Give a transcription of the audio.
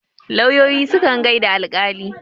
lauyoyi sukan gaida alƙali